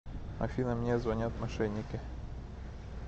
афина мне звонят мошенники